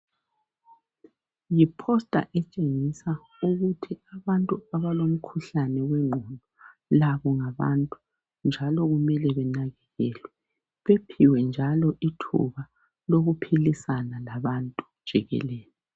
Yiposta etshengisa ukuthi abantu abalomkhuhlane wengqondo labo ngabantu njalo kumele benakekelelwe bephiwe njalo ithuba lokuphilisana labantu jikelele.